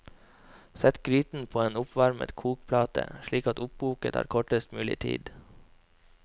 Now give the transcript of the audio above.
Sett gryten på en oppvarmet kokeplate, slik at oppkoket tar kortest mulig tid.